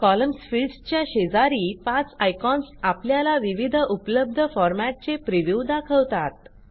columns फिल्डसच्या शेजारी पाच आयकॉन्स आपल्याला विविध उपलब्ध फॉरमॅटचे प्रिव्ह्यू दाखवतात